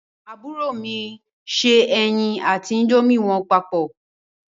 Àwọn àbúrò mi se ẹyin àti índómì wọn papọ̀.